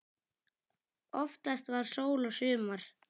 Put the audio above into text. Oftast var sól og sumar.